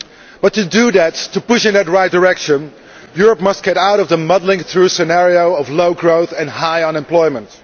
But to do that and push in the right direction Europe must get out of the muddling through scenario of low growth and high unemployment.